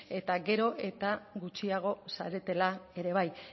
eta gero eta gutxiago zaretela ere bai